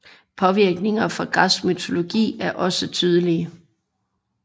Påvirkninger fra Græsk mytologi er også tydelige